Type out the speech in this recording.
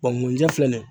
mun ɲɛ filɛ nin ye